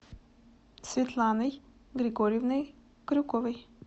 светланой григорьевной крюковой